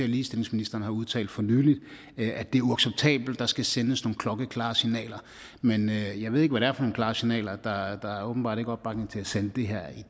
ligestillingsministeren har udtalt for nylig at det er uacceptabelt og skal sendes nogle klokkeklare signaler men jeg ved ikke hvad det er for nogle klare signaler der er åbenbart ikke opbakning til at sende